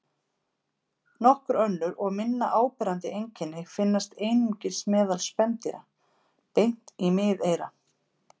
Nokkur önnur og minna áberandi einkenni finnast einungis meðal spendýra: Bein í miðeyra.